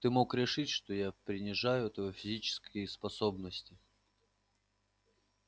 ты мог решить что я принижаю твоё физические способности